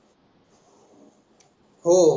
हो